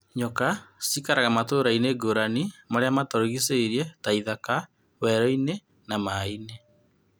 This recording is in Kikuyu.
Nyoka cĩikaraga matūra-inī ngūrani marīa matūrigiceirie ta ithaka, werũ-inĩ na maa-inĩ.